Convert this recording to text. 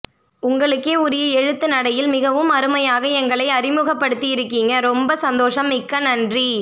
உங்களுக்கே உரிய எழுத்து நடையில் மிகவும் அருமையாக எங்களை அறிமுகப்படுத்தி இருக்கீங்க ரொம்ப சந்தோஷம் மிக்க நன்றி